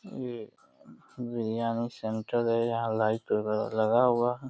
ये बिरयानी सेंटर है। यहाँ लाइट वगेरा लगा हुआ है।